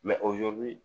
o ye